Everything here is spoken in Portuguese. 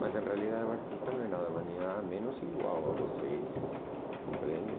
Mas, na realidade, o artista não é nada menos ou igual a vocês, compreende?